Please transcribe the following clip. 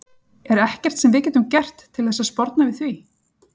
Er ekkert sem við getum gert til þess að sporna við því?